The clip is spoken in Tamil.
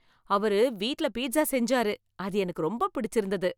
அவரு வீட்டுல பீட்சா செஞ்சாரு, அது எனக்கு ரொம்ப பிடிச்சிருந்தது